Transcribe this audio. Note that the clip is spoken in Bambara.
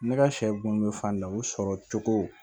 Ne ka sɛ bonya fan na u sɔrɔ cogo